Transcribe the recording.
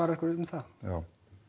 einhverju um það já